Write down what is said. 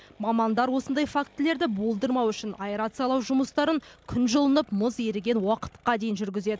мамандар осындай фактілерді болдырмау үшін аэрациялау жұмыстарын күн жылынып мұз еріген уақытқа дейін жүргізеді